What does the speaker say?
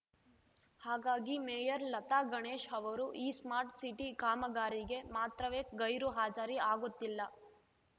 ಹಾಗಾಗಿ ಮೇಯರ್‌ ಲತಾ ಗಣೇಶ್‌ ಅವರು ಈ ಸ್ಮಾರ್ಟ್‌ ಸಿಟಿ ಕಾಮಗಾರಿಗೆ ಮಾತ್ರವೇ ಗೈರು ಹಾಜರಿ ಆಗುತ್ತಿಲ್ಲ